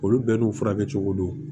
Olu bɛɛ n'u furakɛcogo don